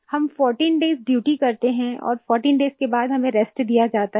हम 14 days duty करते हैं और 14 डेज के बाद हमें रेस्ट दिया जाता है